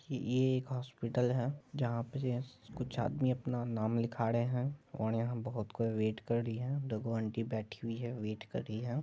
कि ये एक हॉस्पिटल है जहां पर यह कुछ आदमी अपना नाम लिखा रहे हैं और यहां बहुत कोई वेट कर रही है दोगो आंटी बैठी हुई है वेट कर रही है।